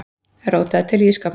Rótaði til í ísskápnum.